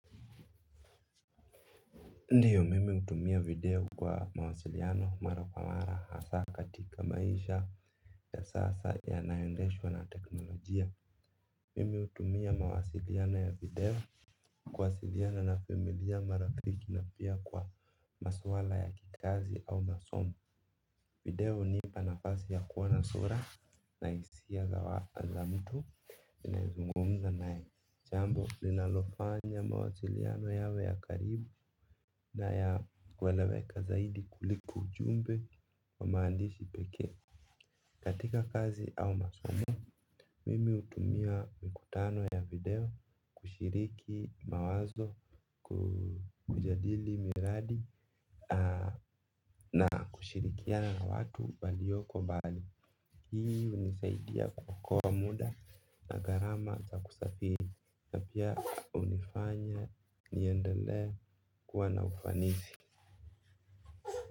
Ndio mimi hutumia video kwa mawasiliano mara kwa mara hasa katika maisha ya sasa yanaendeshwa na teknolojia. Mimi hutumia mawasiliano ya video kuwasiliana na familia, marafiki na pia kwa maswala ya kikazi au masomo. Video hunipa nafasi ya kuona sura na hisia za mtu ninayezungumza naye. Jambo linalofanya mawasiliano yawe ya karibu na ya kueleweka zaidi kuliko ujumbe wa maandishi pekee. Katika kazi au masomo, mimi hutumia mikutano ya video kushiriki mawazo. Kujadili miradi na kushirikiana watu walio mbali. Hii hunisaidia kuokoa muda, na gharama za kusafiri. Pia hunifanya niendelee kuwa na ufanisi.